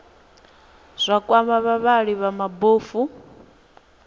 zwa kwama vhavhali vha mabofu